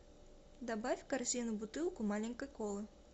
добавь в корзину бутылку маленькой колы